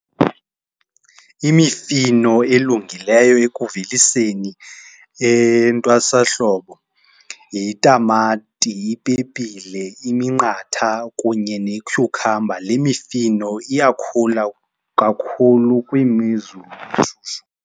Imifino elungileyo ekuveliseni entwasahlobo yitamati, ipepile, iminqatha kunye netyhukhamba. Le mifino iyakhula kakhulu eshushu.